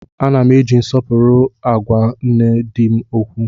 Ana m eji nsọpụrụ agwa nne di m okwu